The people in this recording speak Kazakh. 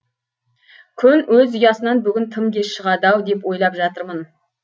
күн өз ұясынан бүгін тым кеш шығады ау деп ойлап жатырмын